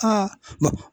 Aa